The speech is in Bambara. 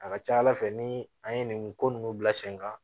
A ka ca ala fɛ ni an ye nin ko ninnu bila sen kan